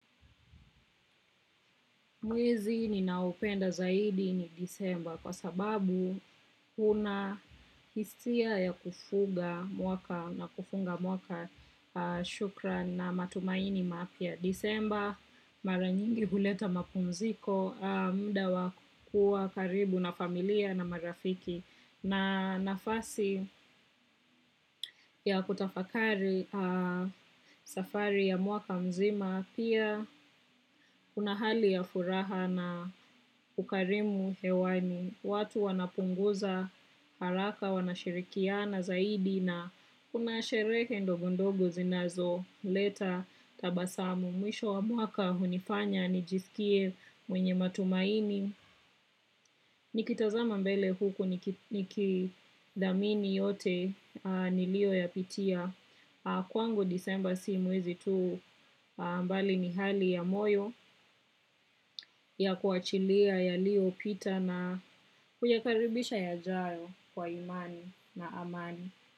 Mwezi ninaupenda zaidi ni disemba kwa sababu kuna hisia ya kufuga mwaka na kufunga mwaka shukran na matumaini mapya. Disemba maranyingi huleta mapumziko muda wakua karibu na familia na marafiki na nafasi ya kutafakari safari ya muaka mzima pia kuna hali ya furaha na ukarimu hewani. Watu wanapunguza haraka, wanashirikiana zaidi na unashireke ndogondogo zinazo leta tabasamu. Mwisho wa mwaka hunifanya, nijisikie mwenye matumaini. Nikitazama mbele huku nikidhamini yote nilio ya pitia. Kwangu disemba si mwezi tu mbali ni hali ya moyo ya kuachilia ya lio pita na huyakaribisha ya jayo. Kwa imani na amani.